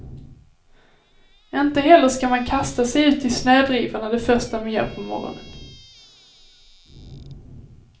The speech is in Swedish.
Inte heller ska man kasta sig ut i snödrivorna det första man gör på morgonen.